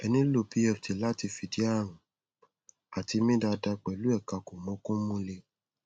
ẹ nílò pft láti lè fìdí ààrùn àti mí dáada pẹlú ẹkà kòmọòkun múlẹ